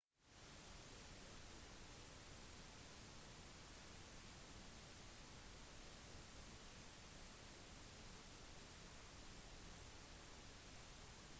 charles var det første medlemmet av den britiske kongefamilien som ble tildelt en grad